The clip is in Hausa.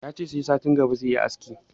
Yace sai satin gaba zai yi aski